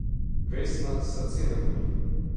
Vesna: 'Srce me boli.